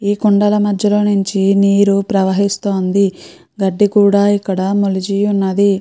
ఈ కొండల మధ్య లో నుంచి నీరు ప్రవహిస్తూ ఉంది గడ్డి కూడా ఇక్కడ మొలిచి ఉన్నది.